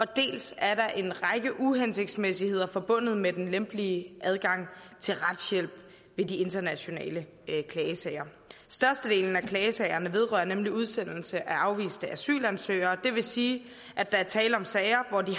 dels er der en række uhensigtsmæssigheder forbundet med den lempelige adgang til retshjælp ved de internationale klagesager størstedelen af klagesagerne vedrører nemlig udsendelse af afviste asylansøgere og det vil sige at der er tale om sager hvor de